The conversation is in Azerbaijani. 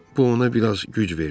Bu ona bir az güc verdi.